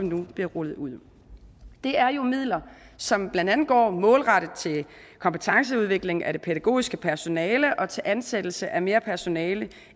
nu bliver rullet ud det er jo midler som blandt andet går målrettet til kompetenceudvikling af det pædagogiske personale og til ansættelse af mere personale